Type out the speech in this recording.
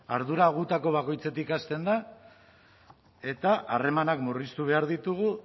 ardura gutako bakoitzetik hasten da eta harremanak murriztu behar ditugu